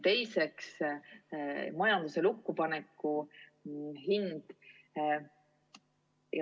Teiseks, majanduse lukku paneku hind.